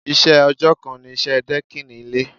Iṣẹ́ ọjọ́ kan ni iṣẹ́ dẹ́kìn ilé.